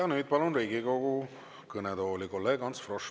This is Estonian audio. Ja nüüd palun Riigikogu kõnetooli kolleeg Ants Froschi.